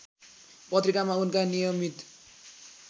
पत्रिकामा उनका नियमित